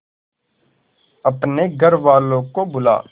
अपने घर वालों को बुला